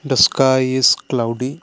the sky is cloudy.